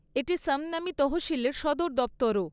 এটি সমনামী তহসিলের সদর দপ্তরও।